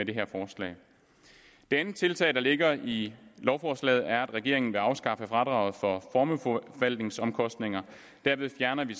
det her forslag det andet tiltag der ligger i lovforslaget er at regeringen vil afskaffe fradraget for formueforvaltningsomkostninger derved fjerner vi